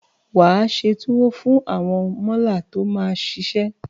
Wà á se tuwo fún àwọn mọ́là tó máa ṣiṣẹ́.